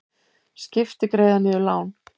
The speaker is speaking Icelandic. Skipti greiða niður lán